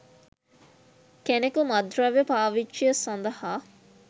කෙනෙකු මත්ද්‍රව්‍ය පාවිච්චිය සඳහා